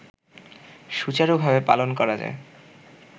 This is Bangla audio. সুচারুভাবে পালন করা যায়